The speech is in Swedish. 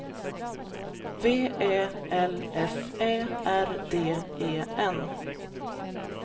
V Ä L F Ä R D E N